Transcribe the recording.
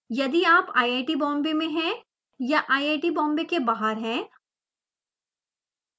यदि आप iit बॉम्बे में हैं या iit बॉम्बे के बाहर हैं